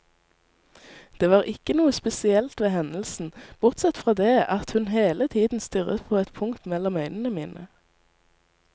Det var ikke noe spesielt ved hendelsen, bortsett fra det at hun hele tiden stirret på et punkt mellom øynene mine.